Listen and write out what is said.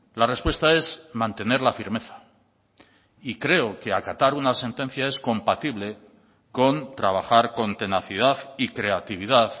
la respuesta es mantener la firmeza y creo que acatar una sentencia es compatible con trabajar con tenacidad y creatividad